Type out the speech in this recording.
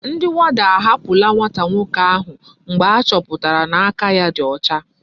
Ndi warder ahapula nwata nwoke ahu mgbe achoputara na aka ya di ocha